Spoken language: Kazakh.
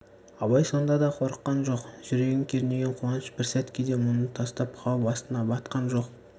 абай сонда да қорыққан жоқ жүрегін кернеген қуаныш бір сәтке де мұны тастап қауіп астына батқан жоқ